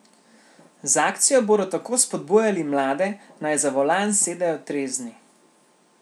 Z akcijo bodo tako spodbujali mlade, naj za volan sedejo trezni.